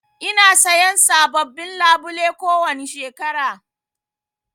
Ina sayan sabobbin labule kowani shekara.